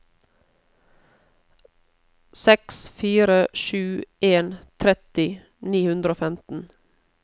seks fire sju en tretti ni hundre og femten